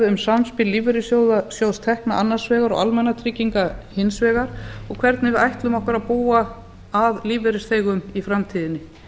um samspil lífeyrissjóðstekna annars vegar og almannatrygginga hins vegar og hvernig við ætlum okkur að búa að lífeyrisþegum í framtíðinni